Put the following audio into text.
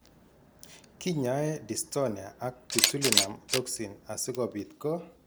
Kinyaee Dystonia ak botulinum toxin asikobit ko